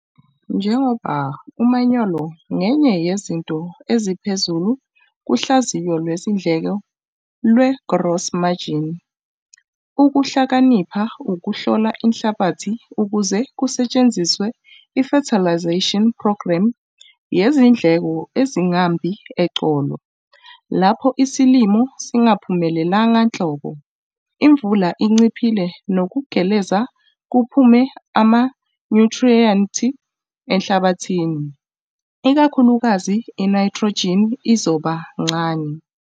Njengoba umanyolo ngenye yezinto eziphezulu kuhlaziyo lwezindleko lwe-gross margin ukuhlakanipha ukuhlola inhlabathi ukuze kusetshenziswe i-fertilisation programme yezindleko ezingambi eqolo. Lapho isilimo singaphumelelanga nhlobo, imvula inciphile nokugeleza kuphume amanyuthriyenti enhlabathini, ikakhulukazi inaythrojini izoba ncane.